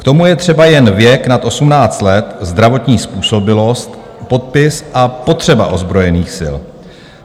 K tomu je třeba jen věk nad 18 let, zdravotní způsobilost, podpis a potřeba ozbrojených sil.